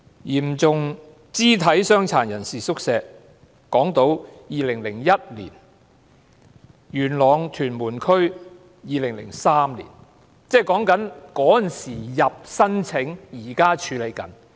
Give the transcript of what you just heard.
嚴重肢體傷殘人士宿舍方面，港島正處理2001年的申請，元朗、屯門區正處理2003年的申請。